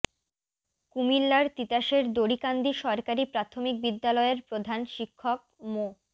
কুমিল্লার তিতাসের দড়িকান্দি সরকারি প্রাথমিক বিদ্যালয়ের প্রধান শিক্ষক মো